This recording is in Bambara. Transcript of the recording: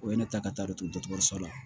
O ye ne ta ka taa dɔ to dɔkɔtɔrɔso la